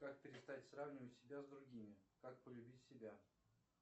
как перестать сравнивать себя с другими как полюбить себя